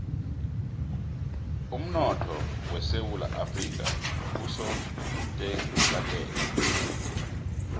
umnotho wesewula afrika usotekateka